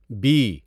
be